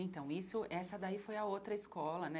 Então, isso, essa daí foi a outra escola, né?